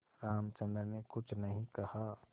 रामचंद्र ने कुछ नहीं कहा